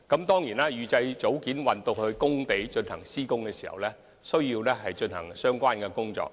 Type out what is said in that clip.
當然，預製組件運到工地後，還需要進行其他工序。